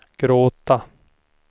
gråta